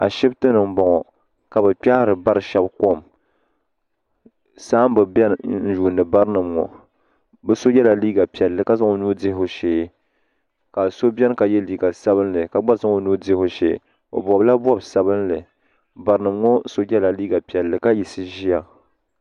Ashipti ni m boŋɔ ka bɛ kpehiri bari sheba kom saamba beni n yuuni barinima ŋɔ bɛ so yela liiga piɛla ka zaŋ o nuu dihi o shee ka so biɛni ka ye liiga sabinli ka gba zaŋ o nuu dihi o shee o bobila bob'sabinli barinima ŋɔ so yela liiga piɛlli ka yiɣisi ʒia.